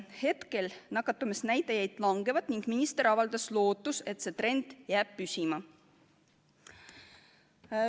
Praegu nakatumisnäitajad langevad ning minister avaldas lootust, et see trend jääb püsima.